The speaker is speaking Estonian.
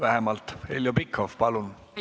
Heljo Pikhof, palun!